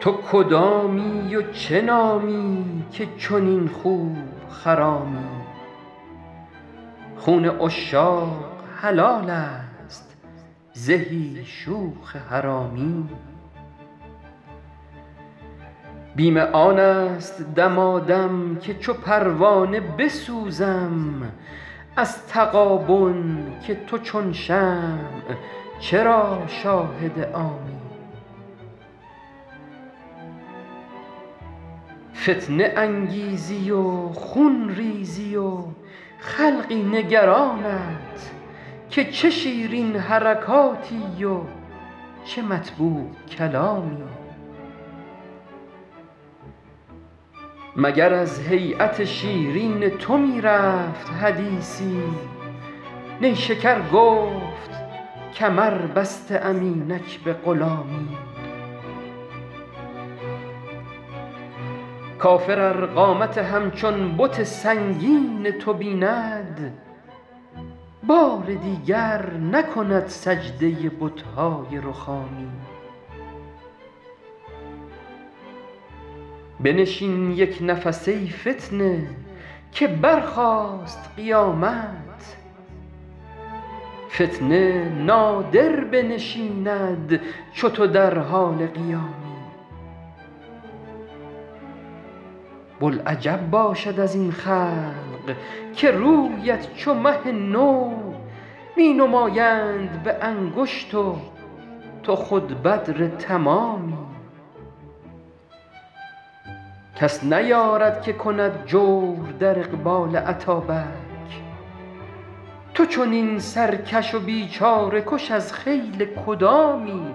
تو کدامی و چه نامی که چنین خوب خرامی خون عشاق حلال است زهی شوخ حرامی بیم آن است دمادم که چو پروانه بسوزم از تغابن که تو چون شمع چرا شاهد عامی فتنه انگیزی و خون ریزی و خلقی نگرانت که چه شیرین حرکاتی و چه مطبوع کلامی مگر از هییت شیرین تو می رفت حدیثی نیشکر گفت کمر بسته ام اینک به غلامی کافر ار قامت همچون بت سنگین تو بیند بار دیگر نکند سجده بت های رخامی بنشین یک نفس ای فتنه که برخاست قیامت فتنه نادر بنشیند چو تو در حال قیامی بلعجب باشد از این خلق که رویت چو مه نو می نمایند به انگشت و تو خود بدر تمامی کس نیارد که کند جور در اقبال اتابک تو چنین سرکش و بیچاره کش از خیل کدامی